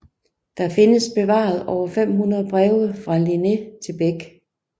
Der findes bevaret over 500 breve fra Linné til Bäck